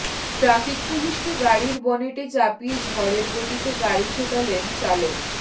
traffic পুলিশকে গাড়ির বনেটে চাপিয়ে ঝড়ের গতিতে গাড়ি ছোটালেন চালক